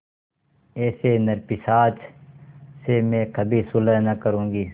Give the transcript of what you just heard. ऐसे नरपिशाच से मैं कभी सुलह न करुँगी